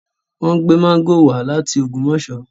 Wọ́n gbé máńgò wá láti Ògbómọ̀ṣọ́